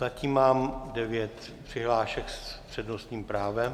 Zatím mám devět přihlášek s přednostním právem.